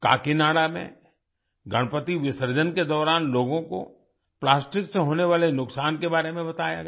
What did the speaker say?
काकीनाड़ा में गणपति विसर्जन के दौरान लोगों को प्लास्टिक से होने वाले नुकसान के बारे में बताया गया